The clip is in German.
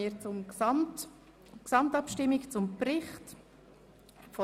Wir sind bei der Planungserklärung 7 der SAK-Minderheit angelangt.